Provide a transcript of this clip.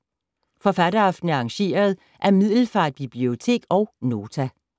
Forfatteraftenen er arrangeret af Middelfart Bibliotek og Nota.